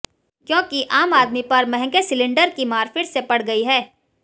क्योंकि आम आदमी पर महंगे सिलिंडर की मार फिर से पड़ गई है